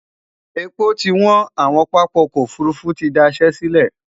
èpo ti wọn, àwon pápá ọkọ òfurufú tí dá Iṣé sílè